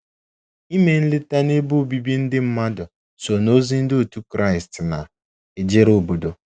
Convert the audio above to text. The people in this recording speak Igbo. Ime nleta n’ebe obibi ndị mmadụ so n’ozi Ndị otu Kraịst na - ejere obodo.